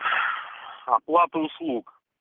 оплата услуг